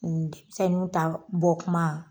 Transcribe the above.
Nin, sisan i bɛ min t'a bɔ kuma.